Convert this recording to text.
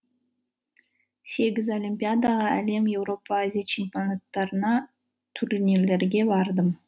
сегіз олимпиадаға әлем еуропа азия чемпионаттарына турнирлерге бардым